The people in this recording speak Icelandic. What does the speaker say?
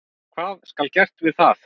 Hvað skal gert við það?